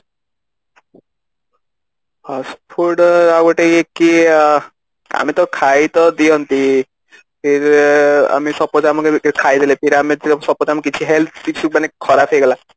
ହଁ ଫୁଡ ଆଉ ଗୋଟେ ଇଏ କି ଆମେ ଟା ଖାଇ ତ ଦିଅନ୍ତି ଫିର ଆମେ suppose ଆମ health କିଛି ଖରାପ ହେଇଗଲା